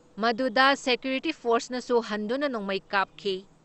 ꯃꯗꯨꯗ ꯁꯦꯀ꯭ꯌꯨꯔꯤꯇꯤ ꯐꯣꯔꯁꯅꯁꯨ ꯍꯟꯗꯨꯅ ꯅꯣꯡꯃꯩ ꯀꯥꯞꯈꯤ ꯫